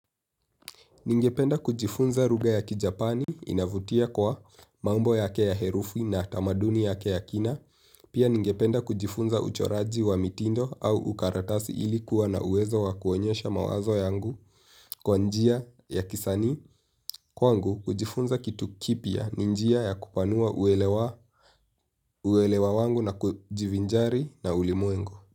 Ningependa kujifunza ruga ya kijapani inavutia kwa mambo yake ya herufi na tamaduni yake ya kina. Pia ningependa kujifunza uchoraji wa mitindo au ukaratasi ilikuwa na uwezo wa kuonyesha mawazo yangu kwa njia ya kisanii. Kwa njia ya kupanua uwelewa wangu na kujivinjari na ulimwengu.